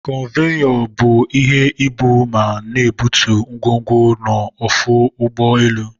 Konveyor bu ihe ebu ma n'ebutu ngwongwo n'ọfụ ụgbọ elu.